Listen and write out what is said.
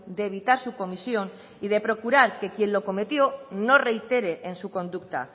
de evitar su comisión y de procurar que quien lo cometió no reitere en su conducta